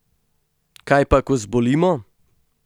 Kaj pa, ko zbolimo?